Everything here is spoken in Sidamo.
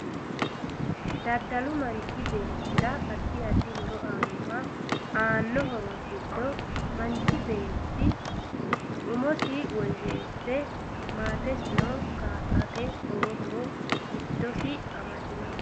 Dadalu manchi beetera addi addi horo aanoho aano horo giddo manchi beeti umosino woyeese maatesino kaa'late lowo horo giddosi amadinoho